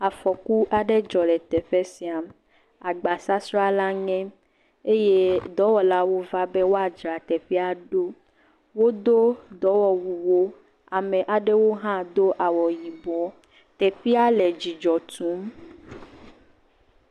Afɔku aɖe dzɔ le teƒe sia, agbasasra la ŋe eye dɔwɔla va be woadzra teƒe ɖo, wodo dɔwɔwu, ame aɖewo hã do awu yibɔ, teƒe le dzidzɔ tum.